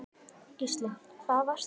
Gísli: Við hvað varstu hræddur?